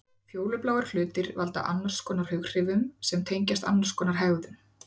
Fjólubláir hlutir valda annarskonar hughrifum sem tengjast annarskonar hegðun.